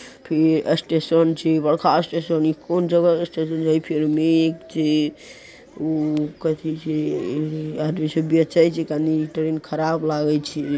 फिर ये अस्टेशन छे बड़का स्टेशन इ कौन जगह क स्टेशन छे? फिर छे उ कथी छे? आदमी सब बेचय छै कनि| ट्रैन ख़राब लागे छै।